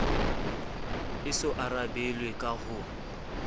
e so arabelwe ka ho